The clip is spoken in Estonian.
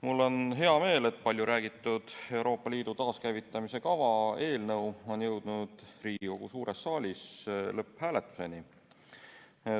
Mul on hea meel, et palju räägitud Euroopa Liidu taaskäivitamise kava eelnõu on jõudnud Riigikogu suures saalis lõpphääletuseni.